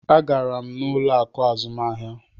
Agara m ụlọ akụ azụmahịa.